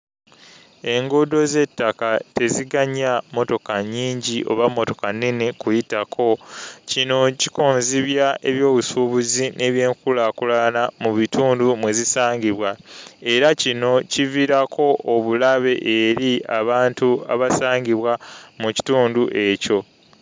Enguudo z'ettaka teziganya mmotoka nnyingi oba mmotoka nnene kuyitako. Kino kikonzibya ebyobusuubuzi n'ebyenkulaakulana mu bitundu mwe zisangibwa, era kino kiviirako obulabe eri abantu abasangibwa mu kitundu ekyo.